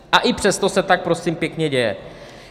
A i přesto se tak, prosím pěkně, děje.